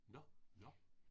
Nåh, nåh